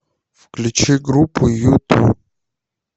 включи группу юту